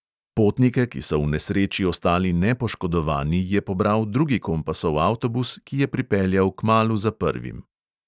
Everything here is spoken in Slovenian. Potnike, ki so v nesreči ostali nepoškodovani, je pobral drugi kompasov avtobus, ki je pripeljal kmalu za prvim.